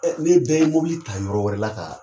ne bɛɛ ye mobili ta yɔrɔ wɛrɛ la kaa